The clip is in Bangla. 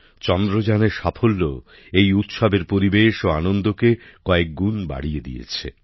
চন্দ্রযানের সাফল্য এই উৎসবের পরিবেশ ও আনন্দকে কয়েকগুণ বাড়িয়ে দিয়েছে